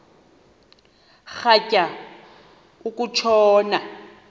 rhatya uku tshona